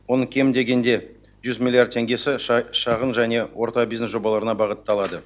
оның кем дегенде жүз миллиард теңгесі шағын және орта бизнес жобаларына бағытталады